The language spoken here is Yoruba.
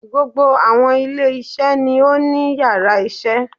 Gbogbo àwọn ilé iṣẹ́ ni ó ní yàrá isé